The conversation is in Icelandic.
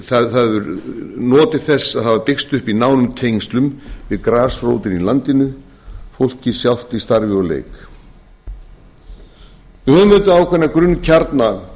það hefur notið þess að hafa byggst upp í nánum tengslum við grasrótina í landinu fólkið sjálft í starfi og leik við höfum ákveðna grunnkjarna